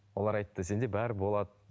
олар айтты сенде бәрі болады